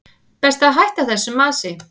Best að hætta þessu masi.